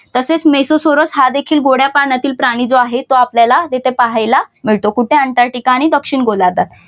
तसेच मेसोसोरस हा देखील गोड्या पाण्यातील प्राणी जो आहे तो आपल्याला तिथे पाहायला मिळतो कुठे अंटार्टिका आणि दक्षिण गोलार्धात